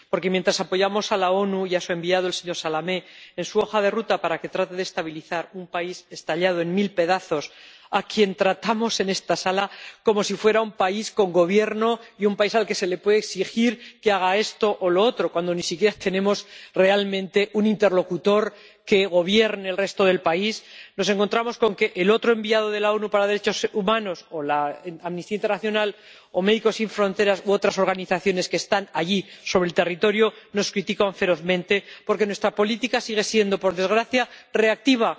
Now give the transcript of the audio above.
Porque mientras apoyamos a las Naciones Unidas y a su enviado, el señor Salamé, en su hoja de ruta para que trate de estabilizar un país estallado en mil pedazos ―al que tratamos en esta sala como si fuera un país con Gobierno y un país al que se le puede exigir que haga esto o lo otro, cuando ni siquiera tenemos realmente un interlocutor que gobierne el resto del país—, nos encontramos con que el otro enviado de las Naciones Unidas para los derechos humanos, o Amnistía Internacional, o Médicos Sin Fronteras, u otras organizaciones que están allí sobre el terreno nos critican ferozmente, porque nuestra política sigue siendo, por desgracia, reactiva.